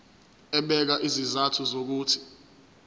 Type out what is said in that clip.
ebeka izizathu zokuthi